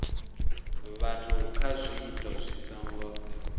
vhathu kha zwiito zwi songo